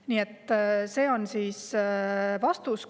Nii et selline on vastus.